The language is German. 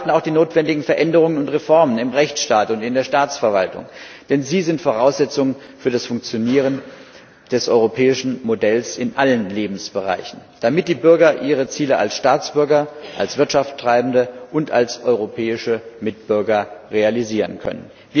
Aber wir erwarten auch die notwendigen Veränderungen und Reformen im Rechtsstaat und in der Staatsverwaltung, denn sie sind Voraussetzung für das Funktionieren des europäischen Modells in allen Lebensbereichen, damit die Bürger ihre Ziele als Staatsbürger, als Wirtschaftsbetreibende und als europäische Mitbürger realisieren können.